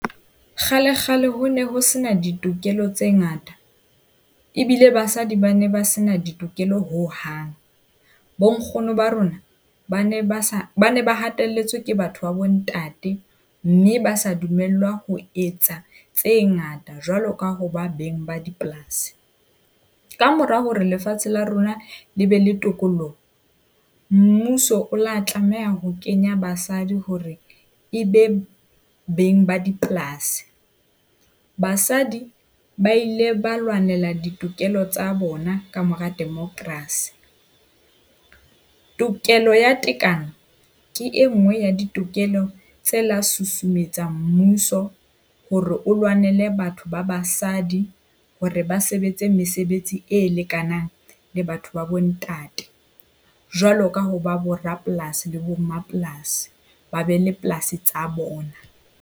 Kgalekgale, ho ne ho sena ditokelo tse ngata. Ebile basadi ba ne ba sena ditokelo hohang. Bonkgono ba rona ba ne ba sa bana ba hatelletswe ke batho ba bontate, mme ba sa dumellwa ho etsa tse ngata jwalo ka ho ba beng ba dipolasi. Ka mora hore lefatshe la rona le be le tokololloho, mmuso o la tlameha ho kenya basadi hore e be beng ba dipolasi. Basadi ba ile ba lwanela ditokelo tsa bona ka mora democracy. Tokelo ya tekano ke e nngwe ya ditokelo tse la susumetsa mmuso hore o lwanele batho ba basadi hore ba sebetse mesebetsi e lekanang le batho ba bo ntate. Jwalo ka ho ba bo rapolasi le bo mapolasi, ba be le polasi tsa bona.